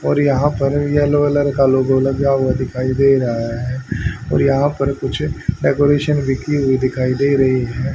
और यहां पर येलो कलर का लोगो लगा हुआ दिखाई दे रहा है और यहां पर कुछ डेकोरेशन भी की हुई दिखाई दे रही है।